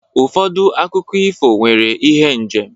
Ụfọdụ akụkọ ifo nwere ihe njem.